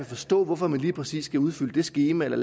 forstå hvorfor man lige præcis skal udfylde det skema eller